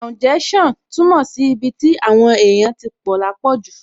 Kàúnjẹ́ṣàn túmọ̀ sí ibi tí àwọn èèyàn tí pọ̀ lápọ̀jù